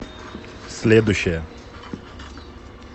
следующая